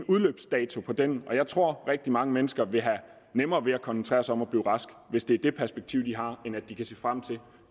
udløbsdato for dem jeg tror at rigtig mange mennesker vil have nemmere ved at koncentrere sig om at blive rask hvis det er det perspektiv de har end hvis de kan se frem til